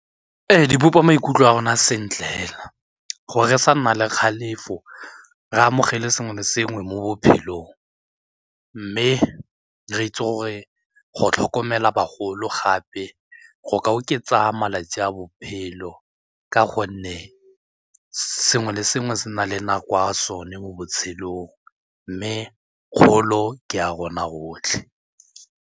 Ee, di bopa maikutlo a rona a sentle fela gore re sa nna le kgalefo re amogele sengwe le sengwe mo bophelong mme re itse gore go tlhokomela bagolo gape ee go ka oketsa malatsi a bophelo ka gonne sengwe le sengwe se na le nako ya sone mo botshelong mme kgolo ke ya rona rotlhe.